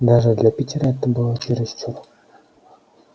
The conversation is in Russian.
даже для питера это было чересчур